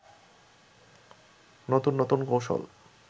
নতুন নতুন কৌশল